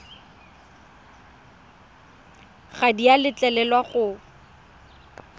ga di a letlelelwa go